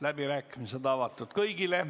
Läbirääkimised on avatud kõigile.